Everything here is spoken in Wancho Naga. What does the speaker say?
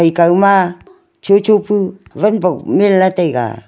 ekao ma chocho pu wan bok menley taiga.